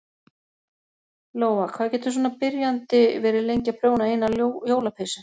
Lóa: Hvað getur svona byrjandi verið lengi að prjóna eina jólapeysu?